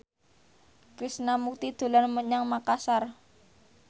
Krishna Mukti dolan menyang Makasar